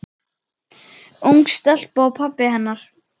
Ung stelpa og pabbi hennar.